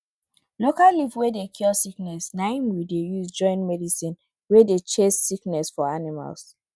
local leaf wey dey cure sickness na im we dey use join medicine wey dey chase sickness for animals